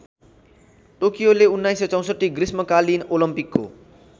टोकियोले १९६४ ग्रीष्मकालीन ओलम्पिकको